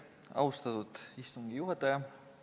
Austatud istungi juhataja!